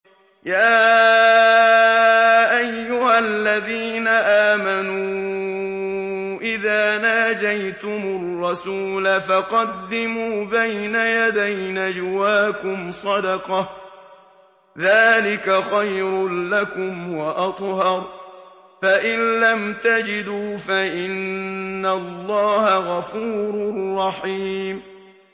يَا أَيُّهَا الَّذِينَ آمَنُوا إِذَا نَاجَيْتُمُ الرَّسُولَ فَقَدِّمُوا بَيْنَ يَدَيْ نَجْوَاكُمْ صَدَقَةً ۚ ذَٰلِكَ خَيْرٌ لَّكُمْ وَأَطْهَرُ ۚ فَإِن لَّمْ تَجِدُوا فَإِنَّ اللَّهَ غَفُورٌ رَّحِيمٌ